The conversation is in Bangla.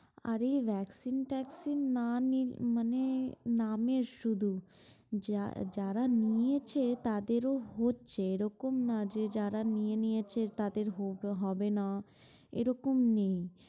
আরে vaccine না নিলে মানে নামের শুধু যারা নিয়েছে তাদেরও হচ্ছে। এরকম না যে যারা নিয়ে নিয়েছে তাদের হবে না এরকম নেই।